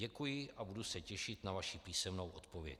Děkuji a budu se těšit na vaši písemnou odpověď.